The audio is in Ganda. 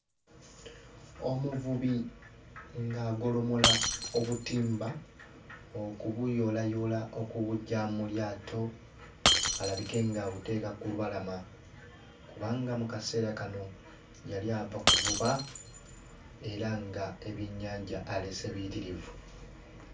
Omuvubi ng'agolomola obutimba okubuyoolayoola okubuggya mu lyato alabike ng'abuteeka ku lubalama kubanga mu kaseera kano yali ava kuvuba era ng'ebyennyanja aleese biyitirivu.